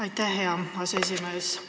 Aitäh, hea aseesimees!